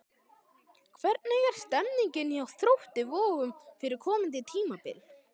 Hvernig er stemningin hjá Þrótti Vogum fyrir komandi tímabil?